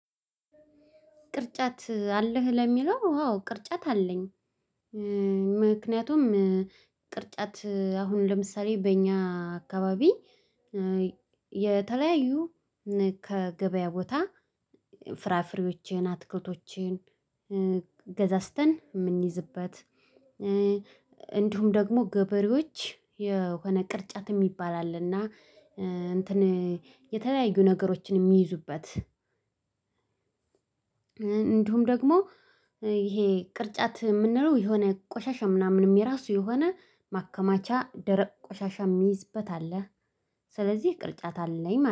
ቅርጫት አለህ ለሚለው አዎ ቅርጫት አለኝ። ምክንያቱም ቅርጫት አሁን ለምሳሌ በእኛ አካባቢ የተለያዩ ከገበያ ቦታ ፍራፍሬዎችን አትክልቶችን ገዛዝተን የምንይዝበት። እንዲሁም ደግሞ ገበሬዎች የሆነ ቅርጫት የሚባል አለና እንትን የተለያዩ ነገሮችን የሚይዙበት። እንደውም ደግሞ ይሄ ቅርጫት የምንለው የሆነ ቆሻሻ ምናምንም የራሱ የሆነ ማከማቻ ደረቅ ቆሻሻ የሚይዝበት አለ። ስለዚህ ቅርጫት አለኝ